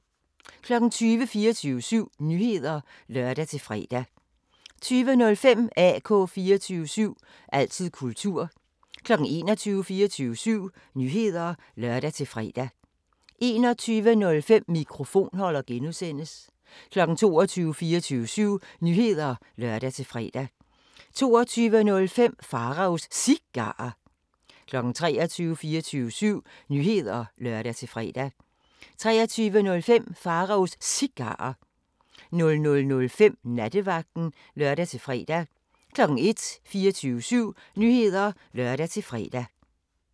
20:00: 24syv Nyheder (lør-fre) 20:05: AK 24syv – altid kultur 21:00: 24syv Nyheder (lør-fre) 21:05: Mikrofonholder (G) 22:00: 24syv Nyheder (lør-fre) 22:05: Pharaos Cigarer 23:00: 24syv Nyheder (lør-fre) 23:05: Pharaos Cigarer 00:05: Nattevagten (lør-fre) 01:00: 24syv Nyheder (lør-fre)